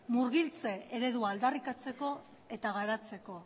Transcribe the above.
murgiltze eredua aldarrikatzeko eta garatzeko